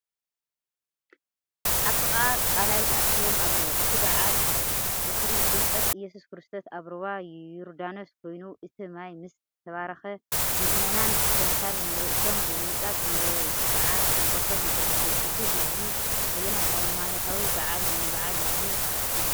ኣብ ጥቓ ቀላይ ተኣኪቦም ኣለዉ። እቲ በዓል ዝኽሪ ጥምቀት ኢየሱስ ክርስቶስ ኣብ ሩባ ዮርዳኖስ ኮይኑ፡ እቲ ማይ ምስ ተባረኸ፡ ምእመናን ብተምሳል ንርእሶም ብምንጻግ መብጽዓ ጥምቀቶም የሐድሱ። እቲ ህዝቢ ኣየናይ ሃይማኖታዊ በዓል ንምብዓል እዩ ተኣኪቡ?